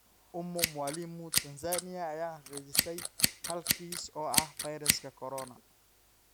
Ummy Mwalimu Tansaaniya ayaa xaqiijisay hal kiis oo ah fayraska Corona.